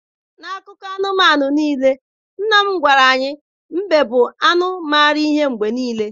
N'akụkọ anụmanụ niile nna m gwara anyị, mbe bụ anụ mara ihe mgbe niile.